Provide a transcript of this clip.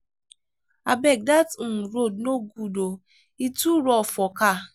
abeg dat um road no good o e too rough for car.